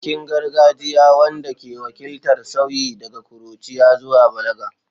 Bikin gargajiya wanda ke wakiltar sauyi daga ƙuruciya zuwa balaga.